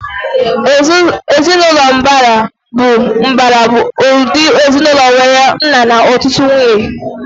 Ezinaụlọ mbara bụ ụdị ezinaụlọ nwéré nna na ọtụtụ nwunye